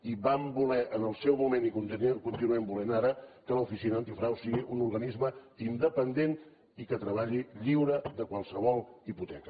i vam voler en el seu moment i ho continuem volent ara que l’oficina antifrau sigui un organisme independent i que treballi lliure de qualsevol hipoteca